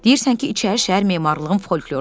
Deyirsən ki, İçərişəhər memarlığın folklorudur.